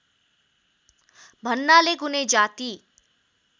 भन्नाले कुनै जाति